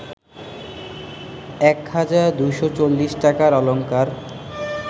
১০২৪০ টাকার অলঙ্কার